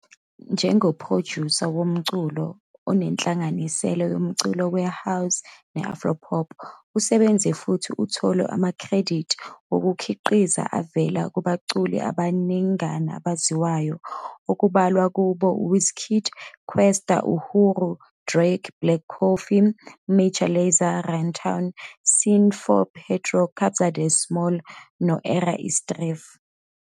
Njengophrojusa womculo onenhlanganisela yomculo we-house ne-afropop, usebenze futhi uthole amakhredithi wokukhiqiza avela kubaculi abaningana abaziwayo, okubalwa kubo uWizkid, Kwesta, Uhuru, Drake, Black Coffee, Major Lazer, Runtown, C4 Pedro, Kabza De Small no- Era Istrefi.